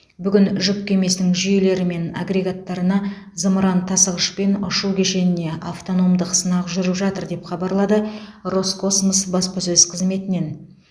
бүгін жүк кемесінің жүйелері мен агрегаттарына зымыран тасығыш пен ұшу кешеніне автономдық сынақ жүріп жатыр деп хабарлады роскосмос баспасөз қызметінен